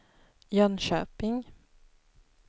Jönköping